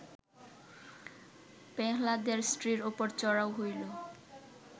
পেহ্লাদের স্ত্রীর ওপর চড়াও হইল